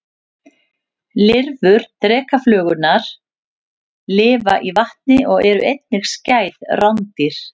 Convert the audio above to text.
Lirfur drekaflugurnar lifa í vatni og eru einnig skæð rándýr.